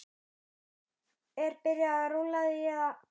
Er byrjað rúlla því eða?